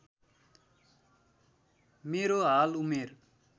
मेरो हाल उमेर